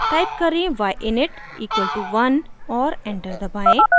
type करें: y init equal to 1 और enter दबाएं